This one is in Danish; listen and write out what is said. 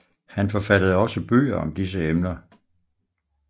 Han forfattede også bøger om disse emner